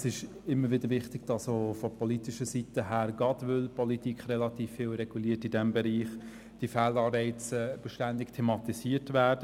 Es ist eben immer wieder wichtig, dass diese Fehlanreize auch von politischer Seite ständig thematisiert werden, gerade weil die Politik in diesem Bereich relativ viel reguliert.